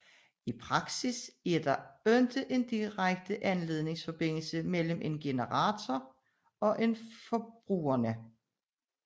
I praksis er der ikke en direkte ledningsforbindelse mellem en generator og forbrugerne